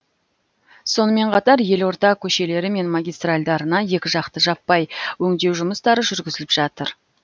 сонымен қатар елорда көшелері мен магистральдарына екіжақты жаппай өңдеу жұмыстары жүргізіліп жатыр